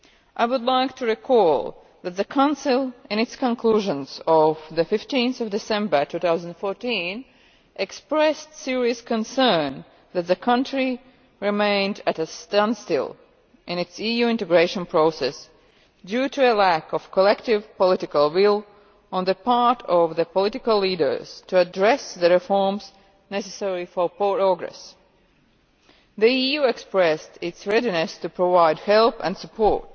I would like to recall that the Council, in its conclusions of 15 December 2014, expressed serious concern that the country remained at a standstill in its EU integration process due to a lack of collective political will on the part of the political leaders to address the reforms necessary for progress. The EU expressed its readiness to provide help and support,